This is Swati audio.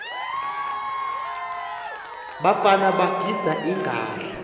bafana bagidza inqadla